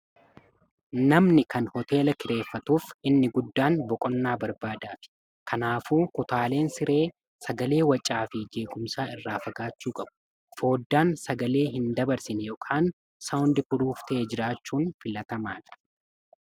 namni kan hooteela kireeffatuuf inni guddaan boqonnaa barbaadaachuufi kanaafuu kutaaleen siree sagalee wacaa fi jeequmsa irraa fagaachuu qabu fooddaan sagalee hin dabarsine ykn saawundi puruuf ta'e jiraachuun filatamaadha